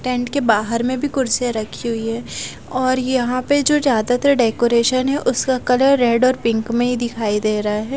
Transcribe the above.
Tent के बाहर में भी कुर्सीया रखी हुई है और यहां पे जो ज्यादातर डेकोरेशन है उसका कलर रेड और पिंक में ही दिखाई दे रहा है।